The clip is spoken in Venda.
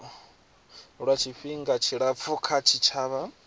lwa tshifhinga tshilapfu kha tshitshavha